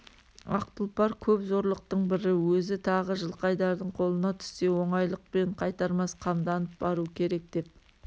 ақ тұлпар көп зорлықтың бірі өзі тағы жылқайдардың қолына түссе оңайлықпен қайтармас қамданып бару керек деп